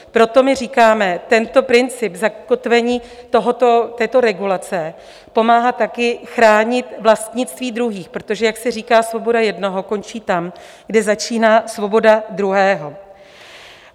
Proto my říkáme, tento princip, zakotvení této regulace pomáhá také chránit vlastnictví druhých, protože jak se říká, svoboda jednoho končí tam, kde začíná svoboda druhého.